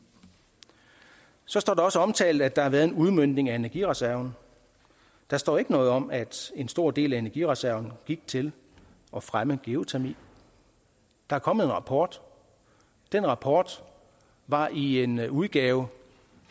så står det også omtalt at der har været en udmøntning af energireserven der står ikke noget om at en stor del af energireserven gik til at fremme geotermi der er kommet en rapport den rapport var i en udgave